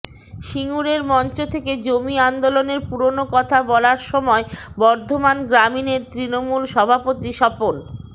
সিঙ্গুরের মঞ্চ থেকে জমি আন্দোলনের পুরনো কথা বলার সময় বর্ধমান গ্রামীণের তৃণমূল সভাপতি স্বপন